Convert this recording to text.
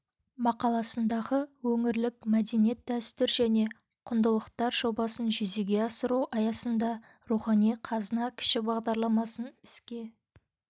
мақаласындағы өңірлік мәдениет дәстүр және құндылықтар жобасын жүзеге асыру аясында рухани қазына кіші бағдарламасын іске